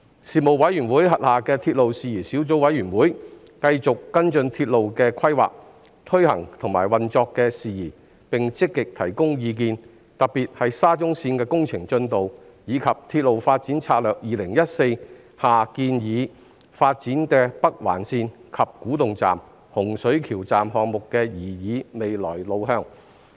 事務委員會轄下的鐵路事宜小組委員會，繼續跟進鐵路的規劃、推行及運作的事宜，並積極提供意見，特別是沙中綫的工程進度，以及《鐵路發展策略2014》建議發展的北環線、洪水橋站項目的擬議未來路向。